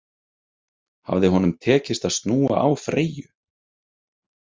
Hafði honum tekist að snúa á Freyju?